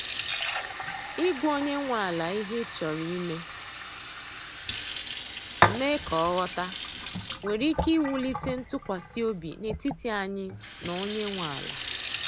i gwa onye nwe ala ihe ị chọrọ ime, mee ka ọ ghọta, nwere ike iwulite ntụkwasị obi n’etiti anyị na onye nwe ala.